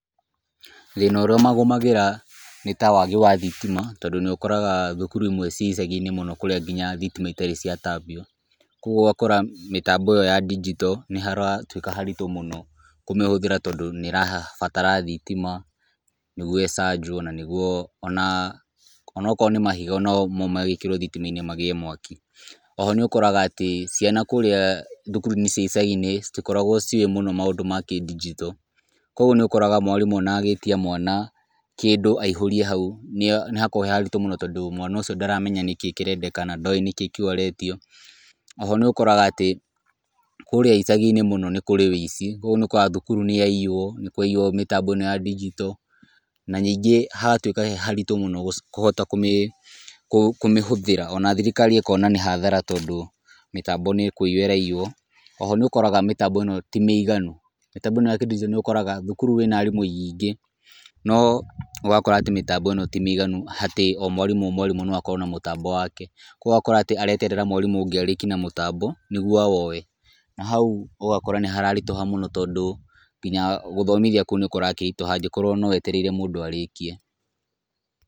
Thĩna ũrĩa ũmagũmagĩra nĩ ta waagi wa thitima. Tondũ nĩ ũkoraga thukuru imwe ci icagi-inĩ mũno kũrĩa nginya thitima itarĩ ciatambio. Koguo ũgakora mĩtambo ĩyo ya ndinjito nĩ haratuĩka haritũ mũno kũmĩhũthĩra tondũ nĩ harabatara thitima nĩguo ĩcanjwo, na nĩguo ona onokorwo nĩ mahiga onamo magĩkĩrwo thitima-inĩ magĩe mwaki. Oho nĩ ũkoraga atĩ, ciana kũũrĩa thukuru-inĩ cia icagi-inĩ citikoragwo ciũĩ mũno maũndũ ma kĩndinjito. Kũguo nĩ ũkoraga mwarimũ ona agĩtia mwana kĩndũ aihũrie hau nĩ hakoragwo he haritũ tondũ mwana ũcio ndaramenya nĩ kĩĩ kĩrendekana. Na ndoĩ nĩ kĩ kĩretio. Oho nĩ ũkoraga atĩ, kũũrĩa icagi-inĩ mũno nĩ kũrĩ wĩici, kũguo nĩ ũkoraga thukuru nĩ yaiywo, nĩ kwaiywo mĩtambo ĩno ya ndinjito. Na ningĩ hagatuĩka he haritũ mũno kũhota kũmĩhũthĩra ona thirikari ĩkona nĩ hathara tondũ mĩtambo nĩ kũiyũo ĩraiyũo. Oho nĩ ũkoraga mĩtambo ĩno ti mĩiganu. Mĩtambo ĩno ya kĩndinjito nĩ ũkoraga thukuru ĩna aarimũ aingĩ, no ũgakora atĩ mĩtambo ĩno ti mĩiganu, atĩ o mwarimũ o mwarimũ no akorawo na mũtambo wake. Kũguo ũgakora atĩ areterera mwarimũ ũngĩ arĩkie na mũtambo nĩguo awoye. Na hau ũgakora nĩ hararitũha mũno tondũ, nginya gũthomithia kũu nĩ kũrakĩritũha angĩkorwo no wetereire mũndũ arĩkie.